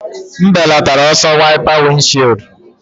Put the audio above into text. M belatara ọsọ wiper windshield.